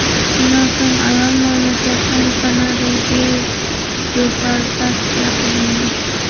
Shundan so‘ng ayol mamlakatdan Kanadaga deportatsiya qilingan.